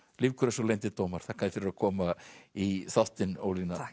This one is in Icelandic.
Lífgrös og leyndir dómar þakka þér fyrir að koma í þáttinn Ólína